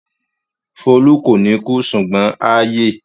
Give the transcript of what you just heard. Folú kò ní kú ṣùgbọ́n á yè.